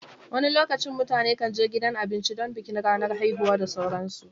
wani lokacin mutane kan je gidan abinci don bikin ranar haihuwa da sauransu